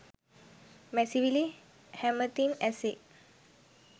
මැසිවිලි හැමතින් ඇසේ